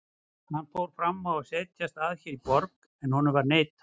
Hann fór fram á að setjast að hér í borg, en honum var neitað.